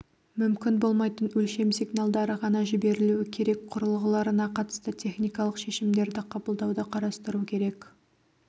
мүмкін болмайтын өлшем сигналдары ғана жіберілуі керек құрылғыларына қатысты техникалық шешімдерді қабылдауды қарастыру керек